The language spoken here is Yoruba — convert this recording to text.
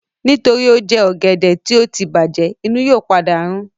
Nítorí ó jẹ ọ̀gẹ̀dẹ̀ tí ó tí bàjẹ̀, inú yóò padà rún